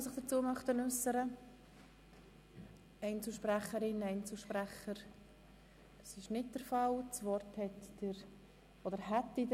Es haben sich keine Fraktionen oder Einzelsprecher gemeldet.